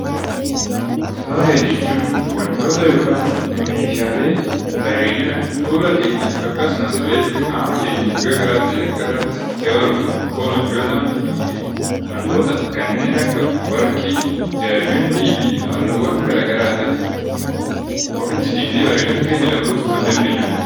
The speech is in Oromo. Faaya jechuun wantoota yookaan meeshaalee bareedina fuula keenya akkasumas illee qaama keenya iddoo biraa ta'e irratti dabaluuf nuuf oolan yoo ta'an, wantoota kanneen akka warqii, diyaamandii fi halluu gara garaatiif ofitti dibnee bareedina keenya dabaluu kan dandeenyu dha.